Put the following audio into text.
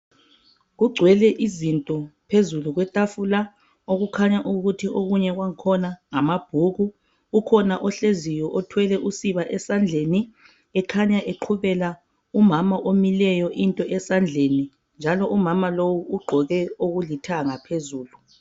Kugcwele izinto phezulu kwetafula okukhanya ukuthi okunye kwakhona ngamabhuku, ukhona ohleziyo othwele usiba esandleni ekhanya eqhubela umama omileyo into esandleni njalo umama lowu ugqoke okulithanga phezulu.